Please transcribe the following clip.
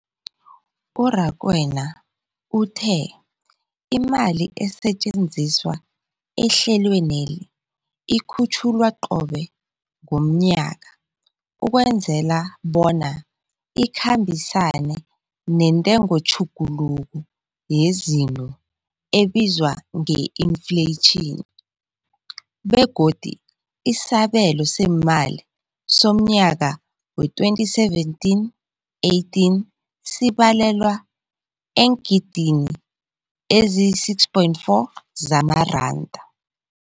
U-Rakwena uthe imali esetjenziswa ehlelweneli ikhutjhulwa qobe ngomnyaka ukwenzela bona ikhambisane nentengotjhuguluko yezinto ebizwa nge-infleyitjhini, begodu isabelo seemali somnyaka we-2017, 18 sibalelwa eengidini eziyi-6.4 zamaranda.